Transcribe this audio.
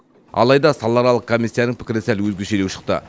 алайда салааралық комиссияның пікірі сәл өзгешелеу шықты